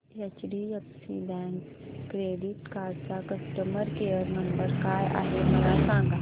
HDFC bank credit card चा customer care number काय आहे मला सांगा